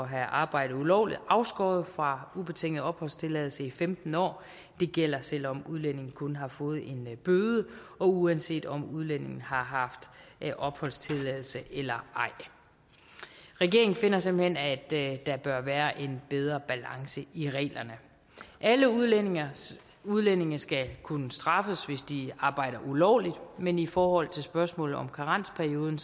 have arbejdet ulovligt afskåret fra at få ubetinget opholdstilladelse i femten år det gælder selv om udlændingen kun har fået en bøde og uanset om udlændingen har haft opholdstilladelse eller ej regeringen finder simpelt hen at der bør være en bedre balance i reglerne alle udlændinge udlændinge skal kunne straffes hvis de arbejder ulovligt men i forhold til spørgsmålet om karensperioden